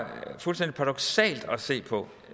se på